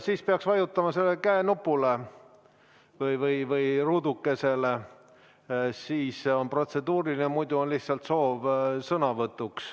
Siis peaks vajutama sellele käenupule või ruudukesele, siis on protseduuriline küsimus, muidu on lihtsalt soov sõnavõtuks.